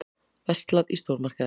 Verslað í stórmarkaði.